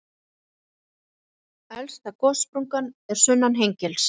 Elsta gossprungan er sunnan Hengils.